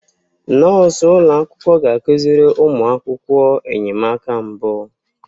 Nọọsụ ụlọ akwụkwọ ga-akụziri ụmụ akwụkwọ enyemaka mbụ.